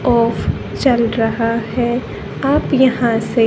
of चल रहा है आप यहां से--